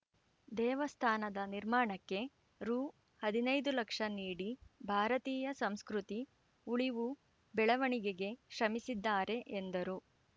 ದೇವಸ್ಥಾನದ ನಿರ್ಮಾಣಕ್ಕೆ ರು ಹದಿನೈದು ಲಕ್ಷ ನೀಡಿ ಭಾರತೀಯ ಸಂಸ್ಕೃತಿ ಉಳಿವುಬೆಳವಣಿಗೆಗೆ ಶ್ರಮಿಸಿದ್ದಾರೆ ಎಂದರು